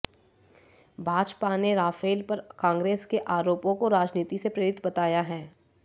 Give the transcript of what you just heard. भाजपा ने राफेल पर कांग्रेस के आरोपों को राजनीति से प्रेरित बताया है